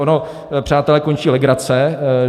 Ono, přátelé, končí legrace.